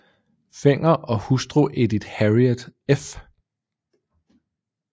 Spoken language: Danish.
Fenger og hustru Edith Harriet f